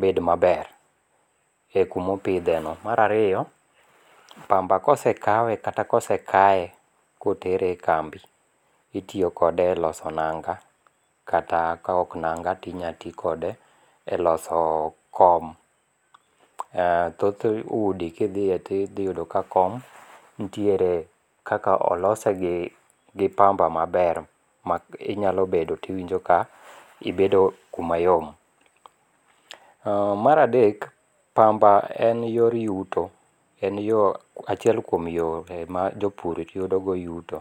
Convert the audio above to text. bed maber e kuma opitheno. Marariyo pamba kose kawe kata kose kaye kotere e kambi itiyo kode e iloso nanga', kata ka ok nanga' to inyalo ti kode e loso kom thoth udi kithie to ithiyudo ka kom olose gi pamba maber ma inyalo bedo to iwinjo ka ibedo kumayom. Maradek pamba en yor yuto , en yo achiel kuom yo ma jo pur yudogo yuto.